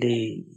leyi.